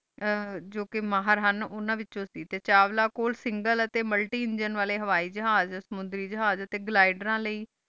ਜੋ ਕੀ ਮਹੇਰ ਹੀਨ ਉਨਾ ਵੇਚੁ ਟੀ ਸੇ ਟੀਨ ਚਾਵੇਲਾਂ ਕੋਲ single ਟੀ multi engine ਜਹਾਜ਼ ਟੀ ਸਮੁੰਦਰੀ ਜਹਾਜ਼ ਟੀ ਘ੍ਲਾਦੇਯਾਂ ਲੈ